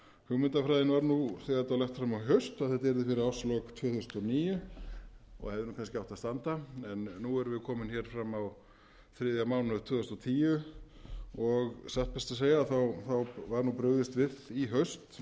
hugmyndafræðin var þegar þetta var lagt fram í haust að þetta yrði fyrir árslok tvö þúsund og níu og hefði kannski átt að standa en nú erum við komin fram á þriðja mánuð tvö þúsund og tíu og satt best að segja var brugðist við í haust